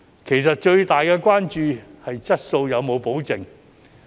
其實，最大的關注是質素有否保證。